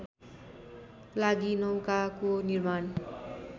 लागि नौकाको निर्माण